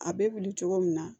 A bɛ wuli cogo min na